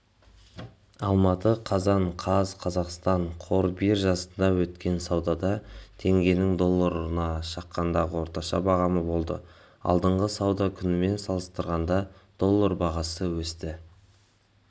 алматы қазан қаз қазақстан қор биржасында өткен саудада теңгенің долларына шаққандағы орташа бағамы болды алдыңғы сауда күнімен салыстырғанда доллар бағасы өсті